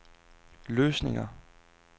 løsninger